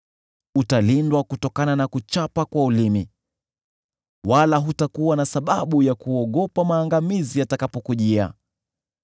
Utalindwa kutokana na kichapo cha ulimi, wala hutakuwa na sababu ya kuogopa maangamizi yatakapokujia.